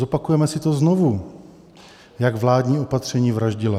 Zopakujeme si to znovu, jak vládní opatření vraždila.